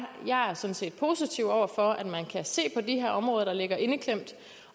jeg sådan set er positiv over for at man kan se på de her områder der ligger indeklemt